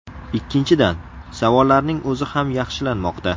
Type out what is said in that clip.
Ikkinchidan, savollarning o‘zi ham yaxshilanmoqda.